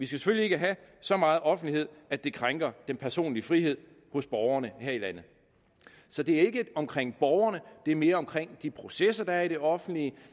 selvfølgelig ikke have så meget offentlighed at det krænker den personlige frihed hos borgerne her i landet så det er ikke omkring borgerne det er mere omkring de processer der er i det offentlige